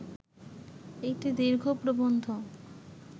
একটি দীর্ঘ প্রবন্ধ